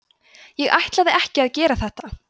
ég ætlaði ekki að gera þetta